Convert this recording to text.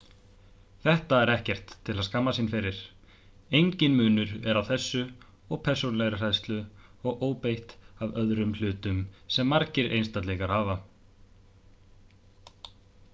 þetta er ekkert til að skammast sín fyrir engin munur er á þessu og persónulegri hræðslu og óbeit á öðrum hlutum sem margir einstaklingar hafa